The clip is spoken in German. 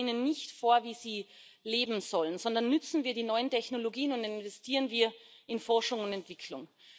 Schreiben wir ihnen nicht vor, wie sie leben sollen, sondern nutzen wir die neuen Technologien, investieren wir in Forschung und Entwicklung!